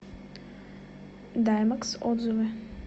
даймэкс отзывы